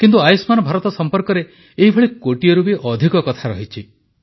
କିନ୍ତୁ ଆୟୁଷ୍ମାନ ଭାରତ ସମ୍ପର୍କରେ ଏହିଭଳି କୋଟିଏରୁ ବି ଅଧିକ କଥା ରହିଛି